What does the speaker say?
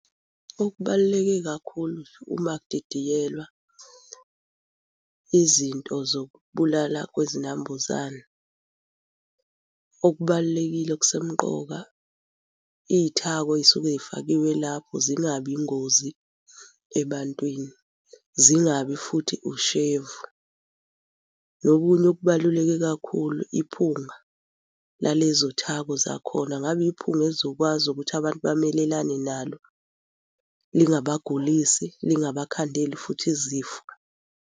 Okubaluleke kakhulu uma kudidiyelwa izinto zokubulala kwezinambuzane, okubalulekile okusemqoka iy'thako ey'suke y'fakiwe lapho zingabi ingozi ebantwini. Zingabi futhi ushevu. Nokunye okubaluleke kakhulu iphunga lalezo thako zakhona. Ngabe iphunga elizokwazi ukuthi abantu bamelelane nalo lingabagulisi lingabakhandeli futhi izifo.